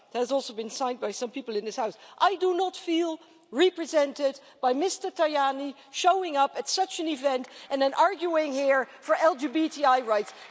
It has also been signed by some people in this House. I do not feel represented by Mr Tajani showing up at such an event and then arguing here for LGBTI rights.